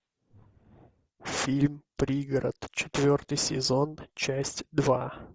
фильм пригород четвертый сезон часть два